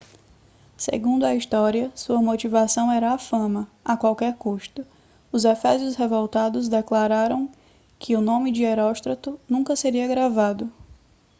segundo a história sua motivação era a fama a qualquer custo os efésios revoltados declararam que o nome de heróstrato nunca seria gravado